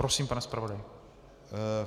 Prosím, pane zpravodaji.